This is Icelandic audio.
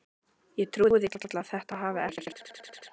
Ég trúi því varla að þetta hafi ekkert breyst?